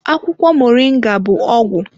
Akwụkwọ Moringa bụ ọgwụ